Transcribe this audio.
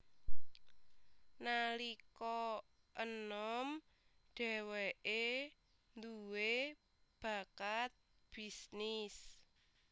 Nalika enom dheweke dhuwe bakat bisnis